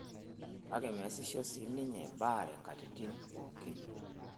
Kake measisho sii ninye baare nkatitin pookin.